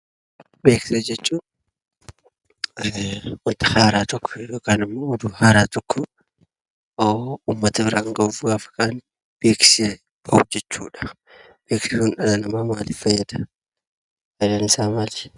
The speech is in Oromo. Beeksisa jechuun wanta haaraa tokko yookanimmoo oduu haaraa tokko uummata biraan gahuuf kan beeksisa hojjannu jechuudha. Beeksisni sunimmoo maaliif fayyada? Fayidaan isaa maali?